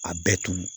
A bɛɛ tun